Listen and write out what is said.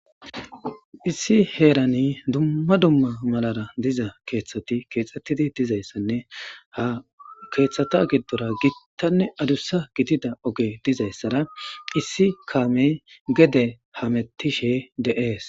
Issi heerani dumma dumma malara diza keeththati keexxettidi dizayssanne ha keeththata giddora gittanne adussa gidida oge dizayssara issi kaamey gede hamettishe de'ees.